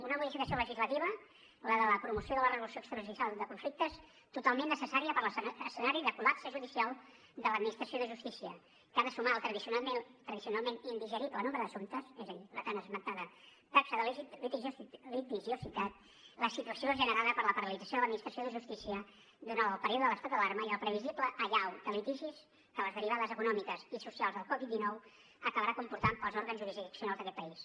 una modificació legislativa la de la promoció de la resolució extrajudicial de conflictes totalment necessària per l’escenari de col·lapse judicial de l’administració de justícia que ha de sumar al tradicionalment indigerible nombre d’assumptes és a dir la tan esmentada taxa de litigiositat la situació generada per la paralització de l’administració de justícia durant el període de l’estat d’alarma i la previsible allau de litigis que les derivades econòmiques i socials de la covid dinou acabaran comportant per als òrgans jurisdiccionals d’aquest país